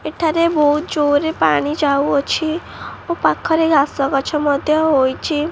ଏଠାରେ ବହୁତ ଜୋରରେ ପାଣି ଯାଉଅଛି ଓ ପାଖରେ ଘାସ ଗଛ ମଧ୍ଯ ହୋଇଚି।